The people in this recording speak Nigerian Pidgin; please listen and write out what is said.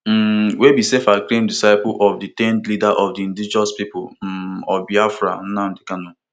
um wey be selfacclaimed disciple of detained leader of di indigenous people um of biafra nnamdi kanu